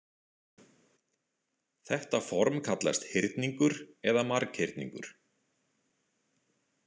Þetta form kallast hyrningur eða marghyrningur.